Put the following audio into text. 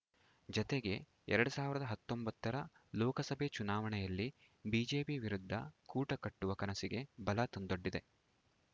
ಜತೆಗೆ ಎರಡ್ ಸಾವಿರದ ಹತ್ತೊಂಬತ್ತರ ಲೋಕಸಭೆ ಚುನಾವಣೆಯಲ್ಲಿ ಬಿಜೆಪಿ ವಿರುದ್ಧ ಕೂಟ ಕಟ್ಟುವ ಕನಸಿಗೆ ಬಲ ತಂದೊಡ್ಡಿದೆ